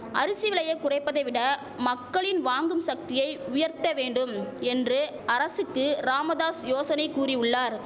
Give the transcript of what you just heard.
அரிசி விலையை குறைப்பதை விட மக்களின் வாங்கும் சக்தியை உயர்த்த வேண்டும் என்று அரசுக்கு ராமதாஸ் யோசனை கூறி உள்ளார்